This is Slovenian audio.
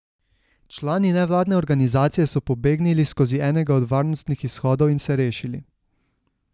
Člani nevladne organizacije so pobegnili skozi enega od varnostnih izhodov in se rešili.